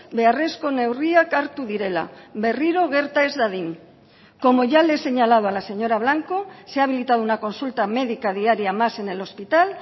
beharrezko neurriak hartu direla berriro gerta ez dadin como ya le he señalado a la señora blanco se ha habilitado una consulta médica diaria más en el hospital